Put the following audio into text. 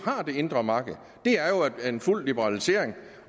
har det indre marked en fuld liberalisering